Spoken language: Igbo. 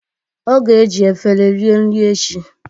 Ọ ga eji efere rie nri echi